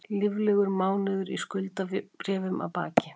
Líflegur mánuður í skuldabréfum að baki